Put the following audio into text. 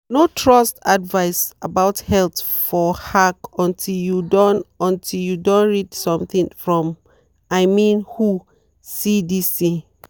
no trust advice about health for hack until you don until you don read something from i mean whocdc.